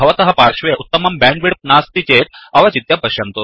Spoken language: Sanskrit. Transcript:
भवतः पार्श्वे उत्तमं बेण्ड् विड्त् नास्ति चेत् अवचित्य पश्यन्तु